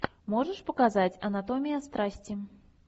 можешь показать анатомия страсти